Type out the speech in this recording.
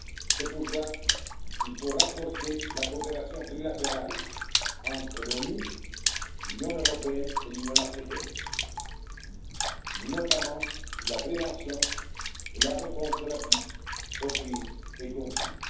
C'est pourquoi il faut renforcer la coopération trilatérale entre l'ONU, l'Union européenne et l'Union africaine, notamment sur la prévention et la réponse rapide aux crises et aux conflits.